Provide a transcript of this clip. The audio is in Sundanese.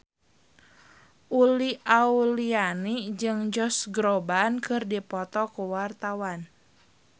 Uli Auliani jeung Josh Groban keur dipoto ku wartawan